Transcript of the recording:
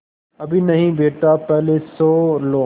अभी नहीं बेटा पहले सो लो